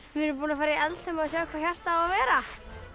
við erum búnar að fara í Eldheima og sjá hvar hjartað á að vera í